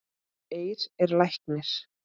Eir er læknir